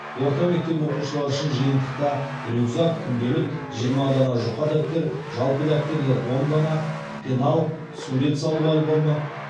орта мектеп оқушылары үшін жиынтықта рюкзак күнделік жиырма дана жұқа дәптер жалпы дәптерлер он дана пенал сурет салу альбомы